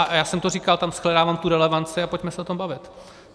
A já jsem to říkal, tam shledávám tu relevanci, a pojďme se o tom bavit.